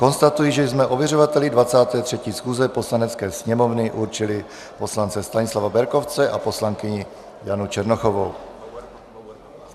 Konstatuji, že jsme ověřovateli 23. schůze Poslanecké sněmovny určili poslance Stanislava Berkovce a poslankyni Janu Černochovou.